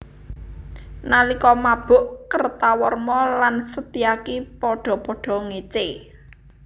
Nalika mabuk Kertawarma lan Setyaki padha padha ngécé